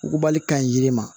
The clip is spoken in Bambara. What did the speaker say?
Wugubali ka ɲi yiri ma